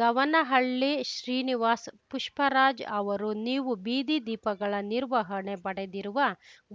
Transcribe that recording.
ಗವನಹಳ್ಳಿ ಶ್ರೀನಿವಾಸ್‌ ಪುಷ್ಪರಾಜ್‌ ಅವರು ನೀವು ಬೀದಿ ದೀಪಗಳ ನಿರ್ಹವಣೆ ಪಡೆದಿರುವ